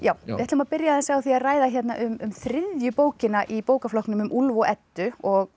við ætlum að byrja á því að ræða um þriðju bókina í bókaflokknum um Úlf og Eddu og